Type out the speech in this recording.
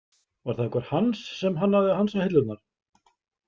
Var það einhver Hans sem hannaði hansahillurnar?